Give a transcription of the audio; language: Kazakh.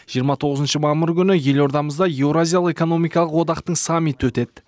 жиырма тоғызыншы мамыр күні елордамызда еуразиялық экономикалық одақтың саммиті өтеді